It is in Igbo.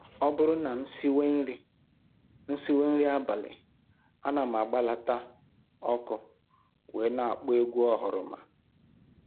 Ọ bụrụ na m siwe nri m siwe nri abalị, ana m agbalata ọkụ wee na-akpọ egwu oghoroma